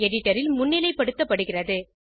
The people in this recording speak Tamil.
எடிட்டர் ல் முன்னிலைப்படுத்தப்படுகிறது